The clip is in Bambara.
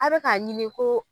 A bɛ ka ɲini ko.